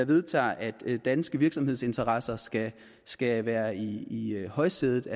vedtager at danske virksomhedsinteresser skal skal være i i højsædet